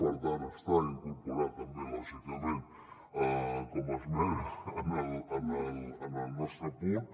per tant està incorporada també lògicament com a esmena en el nos·tre punt